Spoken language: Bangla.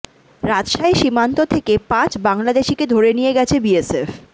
রাজশাহী সীমান্ত থেকে পাঁচ বাংলাদেশিকে ধরে নিয়ে গেছে বিএসএফ